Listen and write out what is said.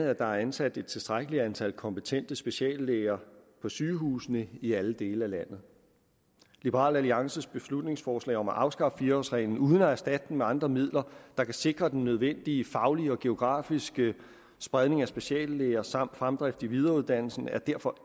at der er ansat et tilstrækkeligt antal kompetente speciallæger på sygehusene i alle dele af landet liberal alliances beslutningsforslag om at afskaffe fire årsreglen uden at erstatte den med andre midler der kan sikre den nødvendige faglige og geografiske spredning af speciallæger samt fremdrift i videreuddannelsen er derfor